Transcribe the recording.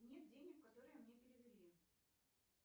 нет денег которые мне перевели